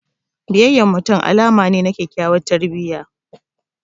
Biyayyan mutum alama ne na kyakyawar tarbiyya.